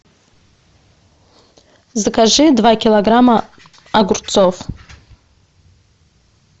закажи два килограмма огурцов